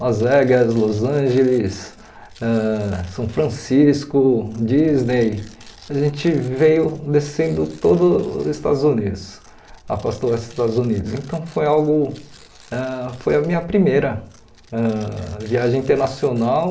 Las Vegas, Los Angeles, ãh São Francisco, Disney, a gente veio descendo todos os Estados Unidos, a costa oeste dos Estados Unidos, então foi algo, ãh foi a minha primeira ãh viagem internacional